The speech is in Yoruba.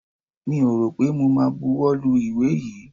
Mi ò rọ̀ pé mo ma buwọ́ lu ìwé yìí.